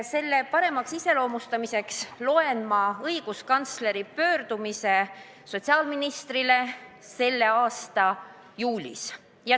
Eesmärgi selgitamiseks loen ma ette õiguskantsleri pöördumise sotsiaalministri poole selle aasta juulis.